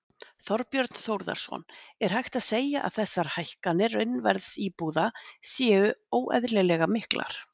Þorbjörn Þórðarson: Er hægt að segja að þessar hækkanir raunverðs íbúða séu óeðlilega miklar?